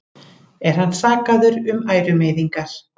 Er hann sakaður um ærumeiðingar